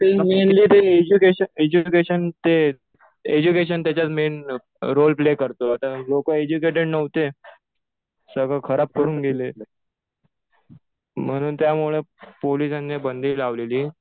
Mainly ते education ते education त्याच्यात मेन रोल प्ले करतो. आता लोकं एज्युकेटेड नव्हते. सगळं खराब करून गेले. म्हणून त्यामुळे पोलिसांनी बंदी लावलेली.